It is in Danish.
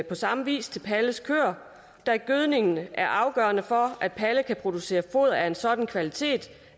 på samme vis til palles køer da gødskningen er afgørende for at palle kan producere foder af en sådan kvalitet